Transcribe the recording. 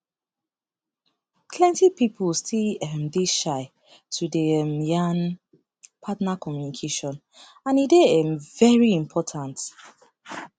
plenty people still um dey shy to dey um yan partner communication and e dey um very important